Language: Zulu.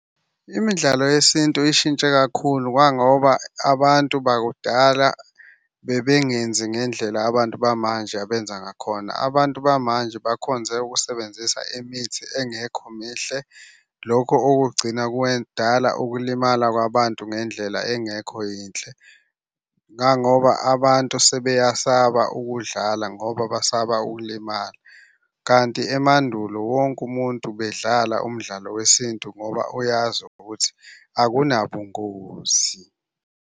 Imidlalo yesintu ishintshe kakhulu kangoba abantu bakudala bebengenzi ngendlela abantu bamanje abenza ngakhona. Abantu bamanje bakhonze ukusebenzisa imithi engekho mihle, lokho okugcina kwedwala ukulimala kwabantu ngendlela engekho yinhle. Ngangoba abantu sebeyasaba ukudlala ngoba basaba ukulimala, kanti emandulo wonke umuntu bedlala umdlalo wesintu ngoba uyazi ukuthi akunabungozi.